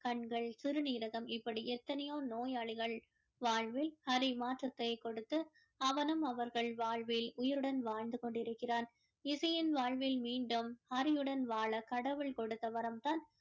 கண்கள் சிறுநீரகம் இப்படி எத்தனையோ நோயாளிகள் வாழ்வில் ஹரி மாற்றத்தை கொடுத்து அவனும் அவர்கள் வாழ்வில் உயிருடன் வாழ்ந்து கொண்டு இருக்கிறான் இசையின் வாழ்வில் மீண்டும் ஹரியுடன் வாழ கடவுள் கொடுத்த வரம் தான்